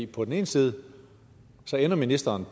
på den ene side ender ministeren